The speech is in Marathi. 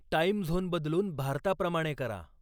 टाईम झोन बदलून भारताप्रमाणे करा